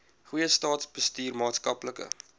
goeie staatsbestuur maatskaplike